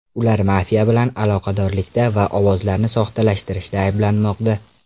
Ular mafiya bilan aloqadorlikda va ovozlarni soxtalashtirishda ayblanmoqda.